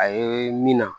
A ye min na